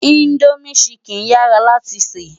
Indómi ṣìkín yárá láti sè